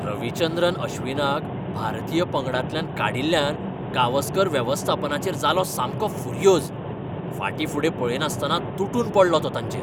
रविचंद्रन अश्विनाक भारतीय पंगडांतल्यान काडिल्ल्यान गावस्कर वेवस्थापनाचेर जालो सामको फुर्योज. फाटीफुडें पळयनासतना तुटून पडलो तो तांचेर.